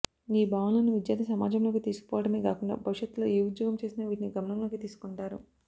ఈ భావనలను విద్యార్థి సమాజంలోకి తీసుకపోవటమే గాకుండా భవిష్యత్లో ఏ ఉద్యోగం చేసినా వీటిని గమనంలోకి తీసుకుంటారు